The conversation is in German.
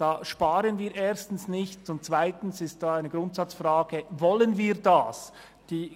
Damit sparen wir erstens nichts, und zweitens stellt sich die Grundsatzfrage, ob wir das wollen.